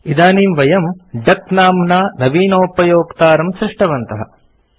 इदानीं वयम् डक नाम्ना नवीनोपयोक्तारं सृष्टवन्तः